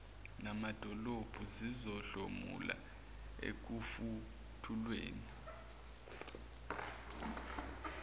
namadolobha zizohlomula ekufukulweni